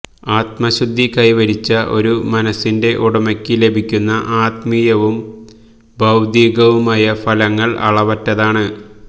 ആത്മവിശുദ്ധി കൈവരിച്ച ഒരു മനസ്സിന്റെ ഉടമക്ക് ലഭിക്കുന്ന ആത്മീയവും ഭൌതികവുമായ ഫലങ്ങള് അളവറ്റതാണ്